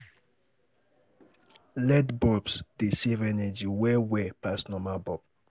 LED bulbs dey save energy well well pass normal bulb